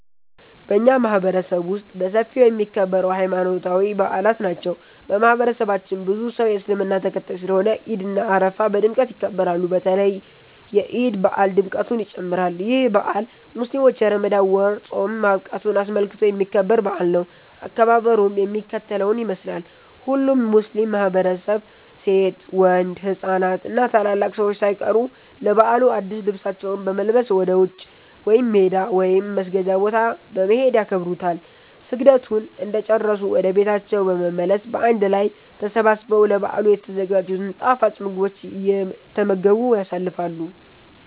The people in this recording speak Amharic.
በኛ ማህበረሰብ ውስጥ በሰፊው የሚከበረው ሀይማኖታዊ በአላት ናቸው። በማህበረሰባችን ብዙ ሰው የእስልምና ተከታይ ስለሆነ ዒድ እና አረፋ በድምቀት ይከበራሉ። በተለይ የዒድ በአል ድምቀቱ ይጨምራል። ይህ በአል ሙስሊሞች የረመዳን ወር ፆም ማብቃቱን አስመልክቶ የሚከበር በአል ነው። አከባበሩም የሚከተለውን ይመስላል። ሁሉም ሙስሊም ማህበረሰብ ሴት፣ ወንድ፣ ህፃናት እና ታላላቅ ሰዎች ሳይቀሩ ለበዓሉ አድስ ልብሳቸውን በመልበስ ወደ ውጪ (ሜዳ) ወይም መስገጃ ቦታ በመሄድ ያከብሩታል። ስግደቱን እንደጨረሱ ወደ ቤታቸው በመመለስ በአንድ ላይ ተሰባስበው ለበዓሉ የተዘጋጅቱን ጣፋጭ ምግቦች እየተመገቡ ያሳልፋሉ።